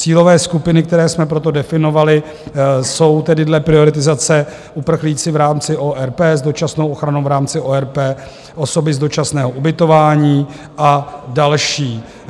Cílové skupiny, které jsme proto definovali, jsou tedy dle prioritizace uprchlíci v rámci ORP, s dočasnou ochranou v rámci ORP, osoby z dočasného ubytování a další.